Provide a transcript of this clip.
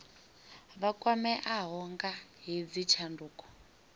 vha kwameaho nga hedzi tshanduko